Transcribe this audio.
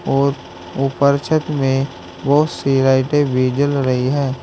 और ऊपर छत में बहुत सी लाइटें भी जल रही है।